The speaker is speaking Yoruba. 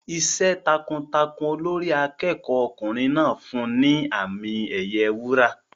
Iṣẹ́ takuntakun Olórí akẹ́kọ̀ọ́ ọkùnrin náà fún un ní àmì ẹ̀yẹ wúrà.